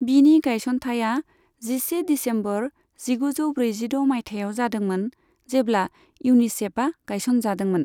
बिनि गायसनथाया जिसे दिसेम्बर जिगुजौ ब्रैजिद' माइथायाव जादोंमोन, जेब्ला इउनिसेफआ गायसनजादोंमोन।